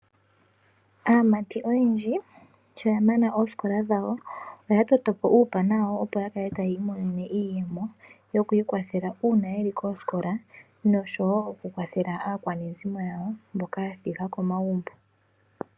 Aamati oyendji sho ya mana oosikola dhawo oya totopo uupana wawo opo yakale taya imonene iiyemo yoku ikwathela uuna yeli koosikola noshowo oku kwathela aakwanezimo yawo mboka ya thiga komagumbo.